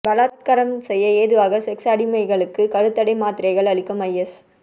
பலாத்காரம் செய்ய ஏதுவாக செக்ஸ் அடிமைகளுக்கு கருத்தடை மாத்திரைகள் அளிக்கும் ஐஎஸ்